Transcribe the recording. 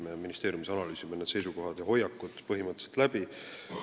Me ministeeriumis analüüsime need seisukohad ja hoiakud põhimõtteliselt läbi.